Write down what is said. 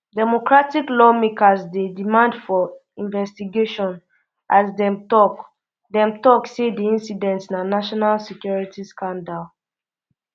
democratic lawmakers dey demand for investigation as dem tok dem tok um say di incident na national security scandal